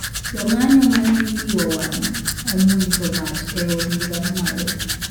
Jong`anyo mane igiowang omuojo mach e od bura mamalo